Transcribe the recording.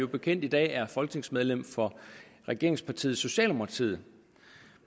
bekendt i dag er folketingsmedlem for regeringspartiet socialdemokratiet